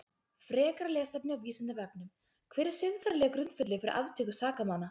Frekara lesefni á Vísindavefnum: Hver er siðferðilegur grundvöllur fyrir aftöku sakamanna?